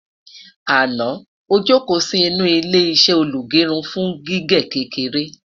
àná ojoko Si inú ilé iṣé olugerun fún gígé kékeré